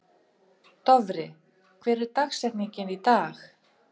Dofri, hver er dagsetningin í dag?